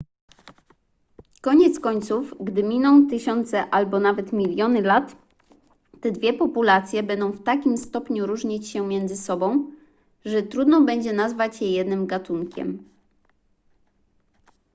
koniec końców gdy miną tysiące albo nawet miliony lat te dwie populacje będą w takim stopniu różnić się między sobą że trudno będzie nazwać je jednym gatunkiem